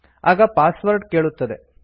ಆಗ ಪಾಸ್ವರ್ಡ್ ಕೇಳುತ್ತದೆ